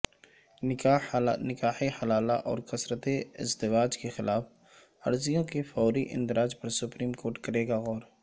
نکاح حلالہ اورکثرت ازدواج کے خلاف عرضیوں کے فوری اندراج پرسپریم کورٹ کرے گاغور